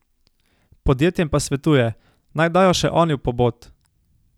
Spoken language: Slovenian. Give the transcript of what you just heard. Podjetjem pa svetuje: 'Naj dajo še oni v pobot.